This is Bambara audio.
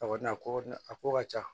A kɔni na ko a ko ka ca